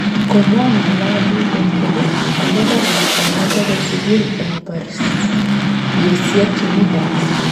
Komwa ng'alalindet kole kokobar lakwanoto bo sugul eng baryosyek chemii kanisa